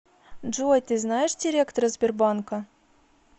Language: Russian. джой ты знаешь директора сбербанка